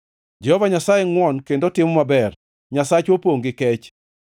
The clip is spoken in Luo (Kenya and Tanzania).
Jehova Nyasaye ngʼwon kendo timo maber; Nyasachwa opongʼ gi kech.